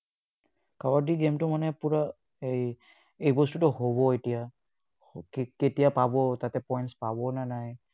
Kabaddi game টো মানে পুৰা এৰ এই বস্তুটো হ'ব এতিয়া কেতিয়া পাব তাতে, points পাবনে নাই।